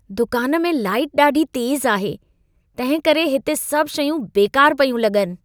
दुकान में लाइट ॾाढी तेज़ आहे, तंहिंकरे हिते सभु शयूं बेकार पयूं लॻनि।